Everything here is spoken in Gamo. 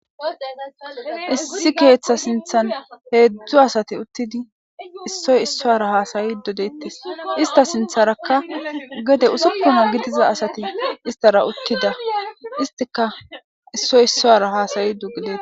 Issi keeththa sinthan heedzdzu asati uttidi issoy issoara haasayi dodeettes ista sintharakka gede usukkuna gidiza asati istara uttida istika issoy issoara haasayi dugidei